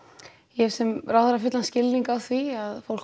ég sem ráðherra hef fullan skilning á því að fólk